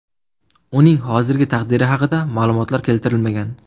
Uning hozirgi taqdiri haqida ma’lumotlar keltirilmagan.